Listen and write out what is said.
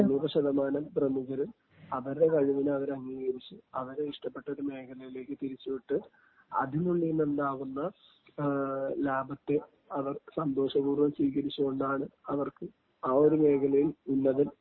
9ഓ ശതമാനം പ്രമുഖരും അവരുടെ കഴിവിനെ അവർ അംഗീകരിച്ച് അവര ഇഷ്ടപ്പെട്ട ഒരു മേഖലയിലേക്ക് തിരിച്ചുവിട്ട് അതിനുള്ളീന്നുണ്ടാകുന്ന ലാഭത്തെ അവർ സന്തോഷപൂർവം സ്വീകരിച്ചുകൊണ്ടാണ് അവർക്ക് ആ ഒരു മേഖലയിൽ ഉന്നതർ...